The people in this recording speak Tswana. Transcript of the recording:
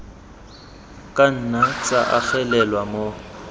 ka nna tsa agelelwa mo